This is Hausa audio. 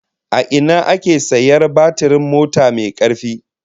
A ina ake sayar batirin mota mai karfi?